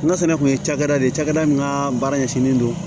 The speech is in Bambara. N'a fɛnɛ kun ye cakɛda de ye cakɛda min ka baara ɲɛsinnen don